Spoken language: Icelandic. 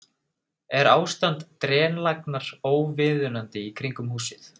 Er ástand drenlagnar óviðunandi í kringum húsið?